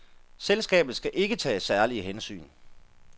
Selskabet skal ikke tage særlige hensyn.